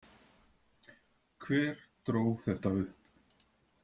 Hver dró þetta upp?